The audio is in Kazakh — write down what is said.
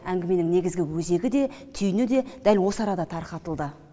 әңгіменің негізгі өзегі де түйіні де дәл осы арада тарқатылды